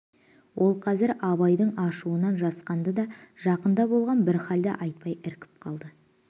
ол қазір абайдың ашуынан жасқанды да жақында болған бір халді айтпай іркіп қалды